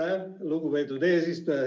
Aitäh, lugupeetud eesistuja!